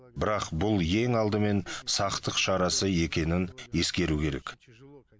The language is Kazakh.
бірақ бұл ең алдымен сақтық шарасы екенін ескеру керек